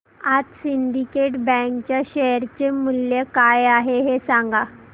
आज Syndicate bank च्या share चे मूल्य काय आहे हे सांगा